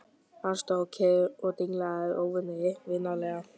Hann stóð kyrr og dinglaði rófunni vinalega.